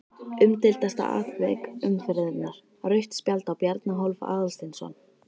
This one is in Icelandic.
Umdeildasta atvik umferðarinnar: Rautt spjald á Bjarna Hólm Aðalsteinsson?